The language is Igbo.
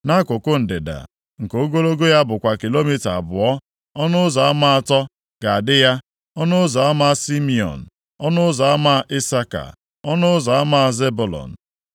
Nʼakụkụ ndịda, nke ogologo ya bụkwa kilomita abụọ, ọnụ ụzọ ama atọ ga-adị ya: ọnụ ụzọ ama Simiọn, ọnụ ụzọ ama Isaka, na ọnụ ụzọ ama Zebụlọn.